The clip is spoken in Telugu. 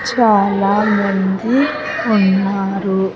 చాలామంది ఉన్నారు.